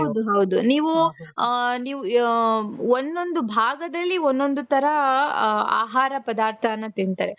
ಹೌದು ನೀವು ಹ ಹ ಒಂದೊಂದು ಭಾಗದಲ್ಲಿ ಒಂದೊಂದು ತರಹ ಹ ಹ ಆಹಾರ ಪದಾರ್ಥನ ತಿಂತಾರೆ .